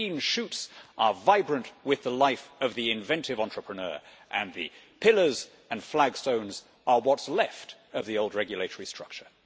The green shoots are vibrant with the life of the inventive entrepreneur and the pillars and flagstones are what's left of the old regulatory structure.